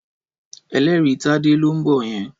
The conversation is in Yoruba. Ẹlẹ́rìí Tádé ló ń bọ̀ yẹn.